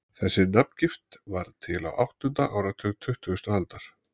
þessi nafngift varð til á áttunda áratug tuttugustu aldar